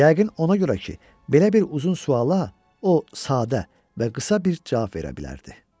Yəqin ona görə ki, belə bir uzun suala o sadə və qısa bir cavab verə bilərdi.